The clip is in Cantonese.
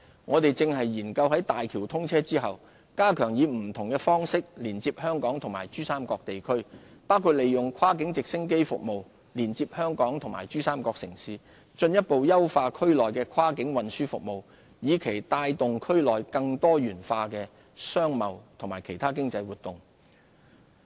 我們正研究在大橋通車後，加強以不同方式連接香港及珠三角地區，包括利用跨境直升機服務連接香港及珠三角城市，進一步優化區內的跨境運輸服務，以期帶動區內更多元化的商貿和其他經濟活動。